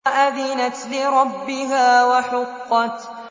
وَأَذِنَتْ لِرَبِّهَا وَحُقَّتْ